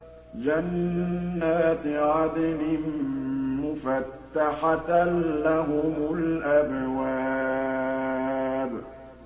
جَنَّاتِ عَدْنٍ مُّفَتَّحَةً لَّهُمُ الْأَبْوَابُ